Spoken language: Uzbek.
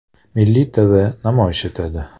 Milliy TV namoyish etadi.